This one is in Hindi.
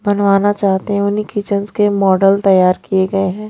बनवानाचाहते हैं उन्हीं किचन्स के मॉडल तैयार किए गए हैं।